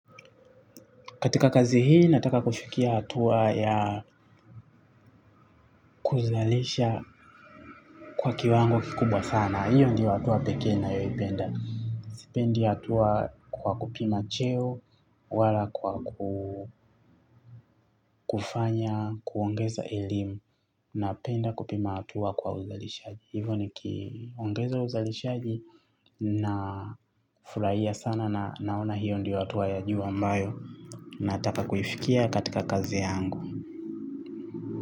Katika kazi hii, nataka kufikia atua ya kuzalisha kwa kiwango kikubwa sana. Hiyo ndio atua pekee ninayoipenda. Sipendi atua kwa kupima cheo, wala kwa kufanya, kuongeza elimu, na penda kupima atua kwa uzalishaji. Hivo nikiongeza uzalishaji na furahia sana na naona hiyo ndo atua ya juu ambayo, nataka kuifikia katika kazi yangu.